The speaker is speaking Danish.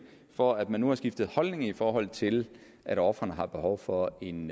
for at man nu har skiftet holdning i forhold til at ofrene har behov for en